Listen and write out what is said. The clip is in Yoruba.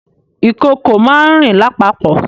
Ìkòkò máa ń rìn lápapò